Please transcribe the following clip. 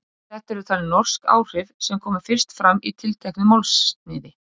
Þetta eru talin norsk áhrif sem komu fyrst fram í tilteknu málsniði.